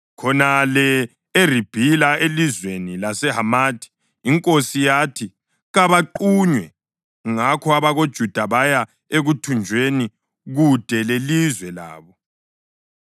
Khonale eRibhila, elizweni laseHamathi, inkosi yathi kabaqunywe. Ngakho abakoJuda baya ekuthunjweni kude lelizwe labo.